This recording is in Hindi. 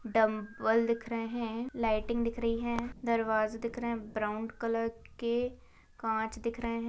--डंबल दिख रहे है लाइटिंग दिख रही है दरवाजा दिख रहा है ब्राउन कलर के कांच दिख रहे है ।